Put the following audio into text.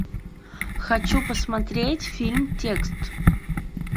хочу посмотреть фильм текст